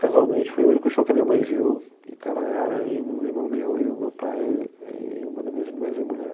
Casualmente foi o único show que a minha mãe viu, e tava ela e um irmão meu e o meu pai e uma das minhas irmãs e a mulher.